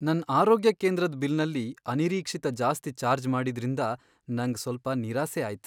ನನ್ ಆರೋಗ್ಯ ಕೇಂದ್ರದ್ ಬಿಲ್ನಲ್ಲಿ ಅನಿರೀಕ್ಷಿತ ಜಾಸ್ತಿ ಚಾರ್ಜ್ ಮಾಡಿದ್ರಿಂದ ನಂಗ್ ಸ್ವಲ್ಪ ನಿರಾಸೆ ಆಯ್ತ್.